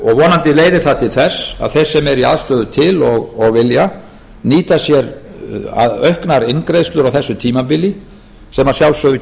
vonandi leiðir það til þess að þeir sem í aðstöðu til og vilja nýta sér auknar inngreiðslur á þessu tímabili sem að sjálfsögðu